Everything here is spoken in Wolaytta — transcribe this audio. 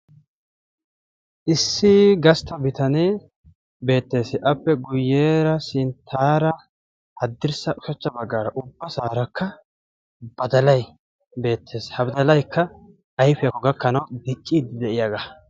issi gastta bitanee beetees, appe guyeera sintaara, haddirssa ushachcha bagaara ubasaarakka badalay beetees, ha badalay ayfiyakko gakkanawu diciidi de'iyaaga.